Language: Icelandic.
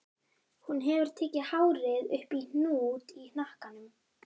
Hún hefur tekið hárið upp í hnút í hnakkanum.